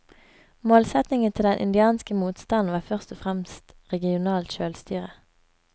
Målsetningen til den indianske motstanden var først og fremst regionalt sjølstyre.